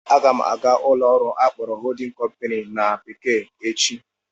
Aga m aga ụlọ ọrụ akpọrọ "holding company" na bekee echi